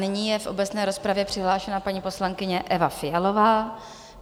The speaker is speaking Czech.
Nyní je v obecné rozpravě přihlášena paní poslankyně Eva Fialová.